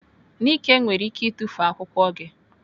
Nike nwere ike itufu akwụkwọ gị.